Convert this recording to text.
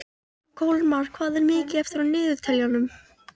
Kolmar, hvað er mikið eftir af niðurteljaranum?